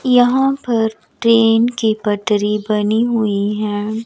यहां पर ट्रेन की पटरी बनी हुई है।